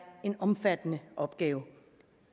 en omfattende opgave